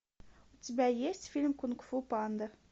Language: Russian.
у тебя есть фильм кунг фу панда